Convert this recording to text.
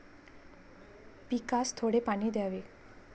पिकास थोडे पाणी द्यावे.